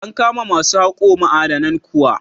An kama ma su haƙo ma'adanan kuwa?